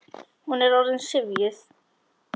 Hún er orðin syfjuð.